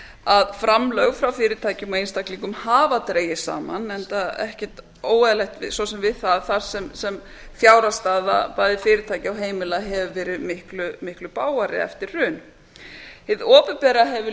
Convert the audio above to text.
að framlög frá fyrirtækjum og einstaklingum hafa dregist saman enda svo sem ekkert óeðlilegt við það þar sem fjárhagsstaða bæði fyrirtækja og heimila hefur verið miklu bágari eftir hrun hið opinbera hefur